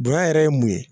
Bonɲa yɛrɛ ye mun ye